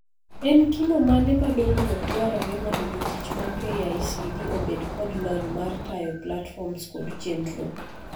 En kimo mane ma dongruok dwarore mondo jotich mag KICD obed kod lony mar tayo platforms kod chendro?